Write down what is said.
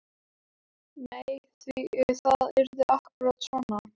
Nei, því það yrði akkúrat svona.